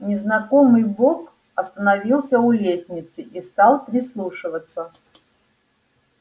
незнакомый бог остановился у лестницы и стал прислушиваться